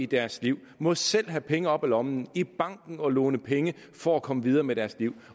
deres liv må selv have penge op af lommen i banken og låne penge for at komme videre med deres liv